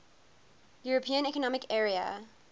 european economic area